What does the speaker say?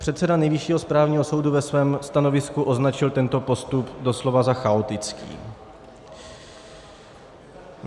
Předseda Nejvyššího správního soudu ve svém stanovisku označil tento postup doslova za chaotický.